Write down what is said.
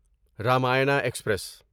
Ramayana express